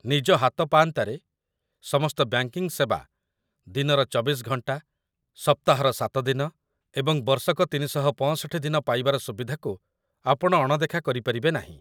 ନିଜ ହାତପାଆନ୍ତାରେ ସମସ୍ତ ବ୍ୟାଙ୍କିଙ୍ଗ ସେବା ଦିନର ୨୪ ଘଣ୍ଟା, ସପ୍ତାହର ୭ ଦିନ ଏବଂ ବର୍ଷକ ୩୬୫ ଦିନ ପାଇବାର ସୁବିଧାକୁ ଆପଣ ଅଣଦେଖା କରିପାରିବେ ନାହିଁ |